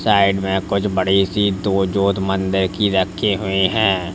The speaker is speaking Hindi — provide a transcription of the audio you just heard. साइड में कुछ बड़ी सी दो की रखी हुई है।